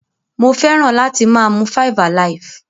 Mo feran ati maa mu 5alive.